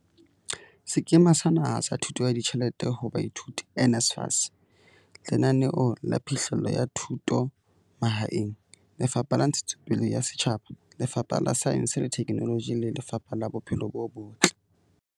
Sekema sa Naha sa Thuso ya Ditjhelete ho Baithuti, NSFAS, Lenaneo la Phihlello ya Thuto Mahaeng, Lefapha la Ntshetsopele ya Setjhaba, Lefapha la Saense le Theknoloji le Lefapha la Bophelo bo Botle.